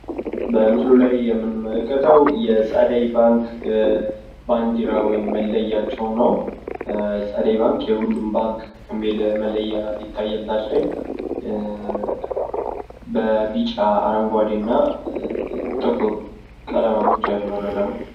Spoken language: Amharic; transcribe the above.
በምስሉ ላይ የምንመለከተው የጸደይ ባንክ ባንዲራ ወይም መለያቸው ነው። የሁሉም ባንክ መለያ የሚል ይታያል ታች ላይ። በቢጫ፣ አረንጓዴ እና ጥቁር ቀለማቶች ያሸበረቀ ነው።